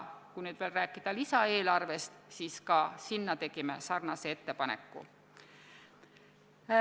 Kui nüüd veel rääkida lisaeelarvest, siis ka selle muutmiseks tegime sarnase ettepaneku.